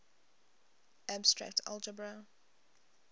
abstract algebra